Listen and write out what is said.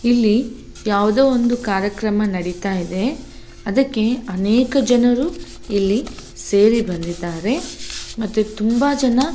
ಇಲ್ಲಿ ಯಾವದೋ ಒಂದು ಕಾರ್ಯಕ್ರಮ ನಡೀತಾಯಿದೆ ಅದಕ್ಕೆ ಅನೇಕ ಜನರು ಇಲ್ಲಿ ಸೇರಿ ಬಂದಿದ್ದಾರೆ ಮತ್ತು ತುಂಬಾ ಜನ--